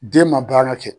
Den ma baara kɛ